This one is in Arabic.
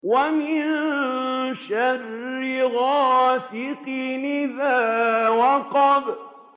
وَمِن شَرِّ غَاسِقٍ إِذَا وَقَبَ